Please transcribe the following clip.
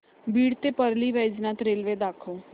बीड ते परळी वैजनाथ रेल्वे दाखव